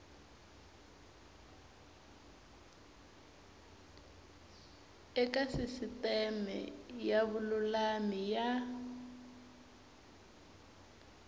eka sisiteme ya vululami ya